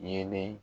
Yeelen